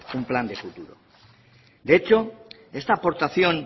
un plan de futuro de hecho esta aportación